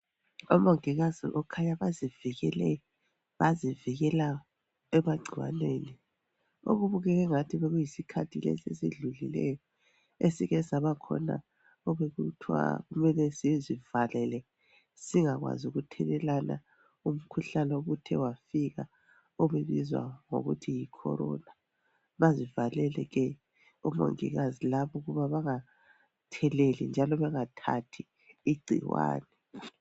Omongikazi kukhanya bazivikele, bazivikela emagcikwaneni okubukeka engathi bekuyi sikhathi lesi esidlulileyo esike sabakhona obekuthwa kumele sizivalele singakwazi ukuthelelana umkhuhlane obuthe wafika obizwa ngokuthi yikhorona, bazivalele ke omongikazi laba ukuba bangatheleli njalo bangathathi igcikwane.